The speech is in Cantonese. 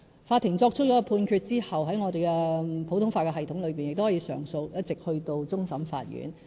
法庭作出判決後，在我們普通法的系統中，亦都可以上訴，一直去到終審法院。